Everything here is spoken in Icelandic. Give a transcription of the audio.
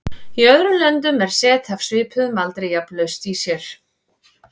Í öðrum löndum er set af svipuðum aldri jafnan laust í sér.